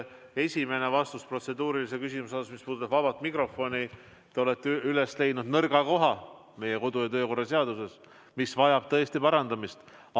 Vastates teie protseduurilisele küsimusele, mis puudutab vaba mikrofoni, ma arvan, et te olete üles leidnud nõrga koha meie kodu- ja töökorra seaduses, mis vajab tõesti parandamist.